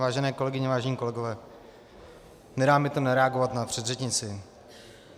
Vážené kolegyně, vážení kolegové, nedá mi to nereagovat na předřečnici.